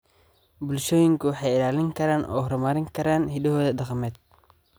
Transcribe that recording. bulshooyinku way ilaalin karaan oo horumarin karaan hidahooda dhaqameed.